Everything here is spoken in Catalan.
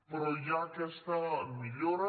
però hi ha aquesta millora